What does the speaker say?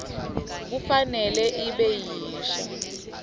kufanele ibe yinsha